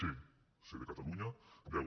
c ce de catalunya deu